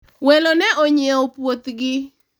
welo ne onyiewo puoth gi